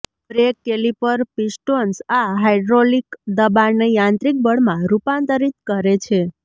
break caliper pistons આ hydraulic દબાણને યાંત્રિક બળમાં રૂપાંતરિત કરે છે